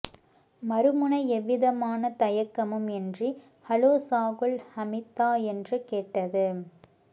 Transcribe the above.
மறுமுனை எவ்விதமான தயக்கமும் இன்றி ஹலோ சாகுல் ஹமீதா என்று கேட்டது